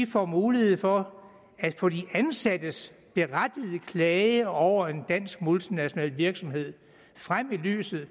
får mulighed for at få de ansattes berettigede klage over en dansk multinational virksomhed frem i lyset